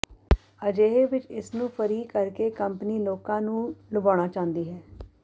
ਅਜਿਹੇ ਵਿੱਚ ਇਸ ਨੂੰ ਫ਼ਰੀ ਕਰ ਕੇ ਕੰਪਨੀ ਲੋਕਾਂ ਨੂੰ ਲੁਭਾਉਣਾ ਚਾਹੁੰਦੀ ਹੈ